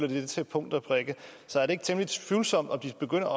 det til punkt og prikke så er det ikke temmelig tvivlsomt om de begynder